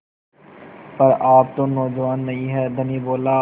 पर आप तो नौजवान नहीं हैं धनी बोला